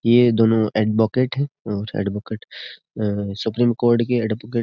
ये दोनों एडवोकेट हैं और एडवोकेट सुप्रीम कोर्ट के एडवोकेट ।